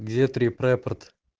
где трип-репорт